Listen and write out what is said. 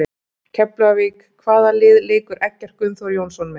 Keflavík Hvaða liði leikur Eggert Gunnþór Jónsson með?